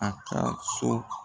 A ka so.